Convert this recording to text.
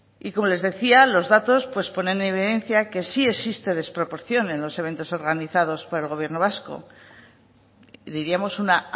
y como les decía los datos ponen en evidencia que sí existe desproporción en los eventos organizados por el gobierno vasco diríamos una